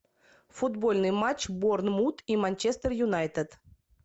футбольный матч борнмут и манчестер юнайтед